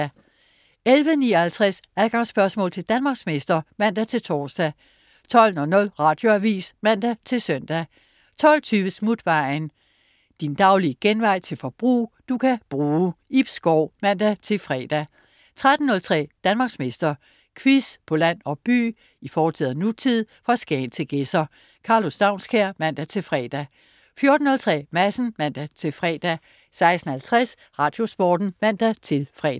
11.59 Adgangsspørgsmål til Danmarksmester (man-tors) 12.00 Radioavis (man-søn) 12.20 Smutvejen. Din daglige genvej til forbrug, du kan bruge. Ib Schou (man-fre) 13.03 Danmarksmester. Quiz på land og by, i fortid og nutid, fra Skagen til Gedser. Karlo Staunskær (man-fre) 14.03 Madsen (man-fre) 16.50 Radiosporten (man-fre)